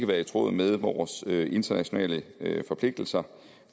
være i tråd med vores internationale forpligtelser